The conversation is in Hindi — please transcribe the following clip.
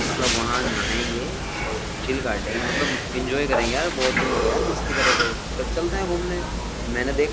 लोग वहाँ नाहैंगे और चील काटेंगे मतलब इन्जॉय करेंगे यार बोहोत दिन हो गए यार मस्ती करे हुए। कल चलते है घूमने मेने देखा --